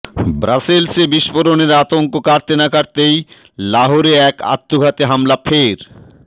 ব্রাসেলসে বিস্ফোরণের আতঙ্ক কাটতে না কাটতেই লাহৌরে এক আত্মঘাতী হামলা ফের